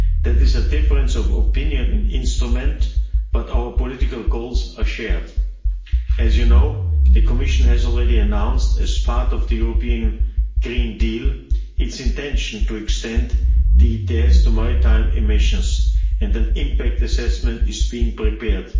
There is a difference of opinion on the instrument, but our political goals are shared. As you know, the Commission has already announced, as part of the European Green Deal, its intention to extend the ETS to maritime emissions, and the impact assessment is being prepared.